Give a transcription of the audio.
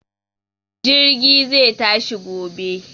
Jirgin zai tashi gobe.